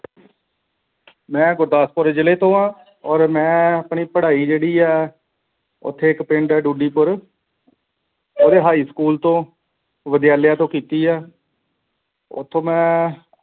ਮੈਂ ਗੁਰਦਾਸਪੁਰ ਜ਼ਿਲ੍ਹੇ ਤੋਂ ਹਾਂ ਹੋਰ ਮੈਂ ਆਪਣੀ ਪੜਾਈ ਜਿਹੜੀ ਹੈ ਉੱਥੇ ਇੱਕ ਪਿੰਡ ਹੈ ਦੁੜੀਪੁਰ ਉਹਦੇ high school ਤੂੰ ਵਿਦਿਆਲੇ ਤੋਂ ਕੀ ਕੀ ਹੈ ਓਥੋਂ ਮੈਂ